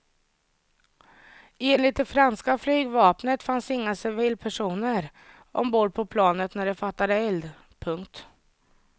Enligt det franska flygvapnet fanns inga civilpersoner ombord på planet när det fattade eld. punkt